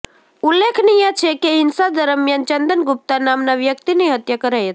ઉલ્લેખનિય છે કે હિંસા દરમિયાન ચંદન ગુપ્તા નામના વ્યકિતની હત્યા કરાઈ હતી